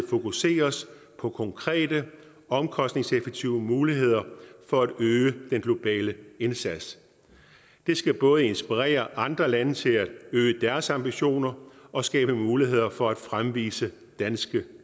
fokuseres på konkrete omkostningseffektive muligheder for at øge den globale indsats det skal både inspirere andre lande til at øge deres ambitioner og skabe muligheder for at fremvise danske